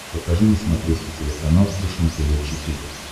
покажи на смотрешке телеканал фэшен тв четыре к